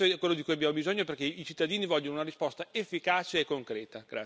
Questo è quello di cui abbiamo bisogno, perché i cittadini vogliono una risposta efficace e concreta.